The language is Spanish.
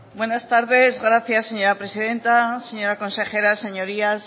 buenas tardes gracias señora presidenta señora consejera señorías